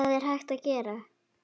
Hvað er hægt að gera?